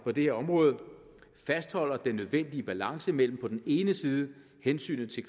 på det her område fastholder den nødvendige balance mellem på den ene side hensynet til